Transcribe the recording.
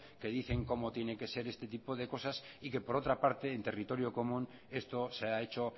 que dicen cómo tienen que ser este tipo de cosas y que por otra parte en territorio común esto se ha hecho